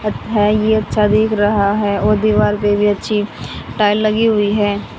अठ है ये अच्छा दिख रहा है और दीवार पे भी अच्छी टाइल लगी हुई है।